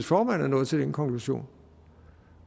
formand er nået til den konklusion